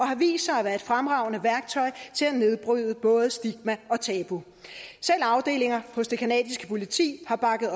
har vist sig at være et fremragende værktøj til at nedbryde både stigma og tabu selv afdelinger hos det canadiske politi har bakket